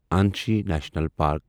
Anshi national park